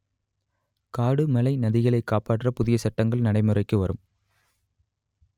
காடு மலை நதிகளை காப்பாற்ற புதிய சட்டங்கள் நடைமுறைக்கு வரும்